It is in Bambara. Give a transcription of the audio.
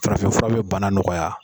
farafin fura be banna nɔgɔya